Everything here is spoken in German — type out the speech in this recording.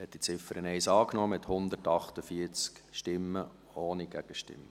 Sie haben die Ziffer 1 angenommen, mit 148 Stimmen ohne Gegenstimmen.